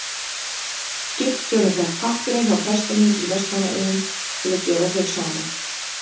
Skipstjórinn fékk pappíra hjá prestinum í Vestmannaeyjum til að gefa þau saman.